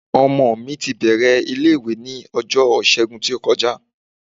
Ọmọ mi ti bẹ̀rẹ̀ ilé-ìwé ní ọjọ́ Ìṣẹ́gun tó kọjá.